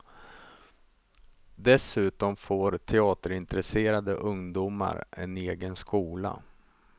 Dessutom får teaterintresserade ungdomar en egen skola.